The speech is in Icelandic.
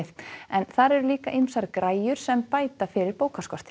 en þar eru líka ýmsar græjur sem bæta fyrir